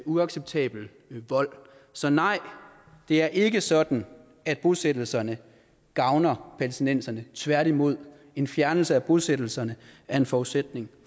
uacceptabel vold så nej det er ikke sådan at bosættelserne gavner palæstinenserne tværtimod en fjernelse af bosættelserne er en forudsætning